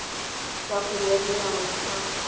sa kgwele ya dinao sa